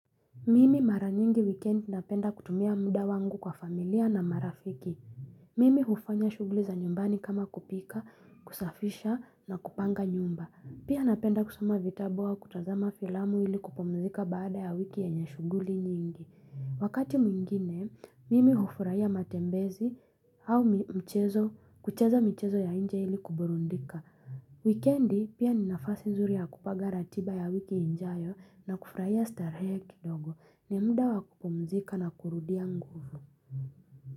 Mimi mara nyingi wikiendi napenda kutumia muda wangu kwa familia na marafiki. Mimi hufanya shughuli za nyumbani kama kupika, kusafisha na kupanga nyumba. Pia napenda kusoma vitabu au kutazama filamu ili kupumzika baada ya wiki yenye shughuli nyingi. Wakati mwingine, mimi hufurahia matembezi au mchezo, kucheza michezo ya nje ili kuburudika. Weekendi pia ni nafasi nzuri ya kupanga ratiba ya wiki ijayo na kufurahia starehe kidogo ni muda wakupumzika na kurudia nguvu.